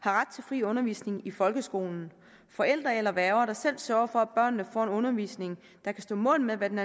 har ret til fri undervisning i folkeskolen forældre eller værger der selv sørger for at børnene får en undervisning der kan stå mål med hvad der